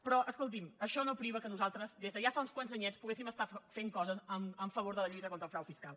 però escolti’m això no priva que nosaltres des de ja fa uns quants anyets po·guéssim estar fent coses en favor de la lluita contra el frau fiscal